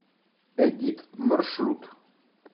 эдит маршрут